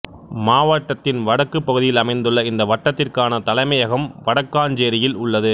மாவட்டத்தின் வடக்குப் பகுதியில் அமைந்துள்ள இந்த வட்டத்திற்கான தலைமையகம் வடக்காஞ்சேரியில் உள்ளது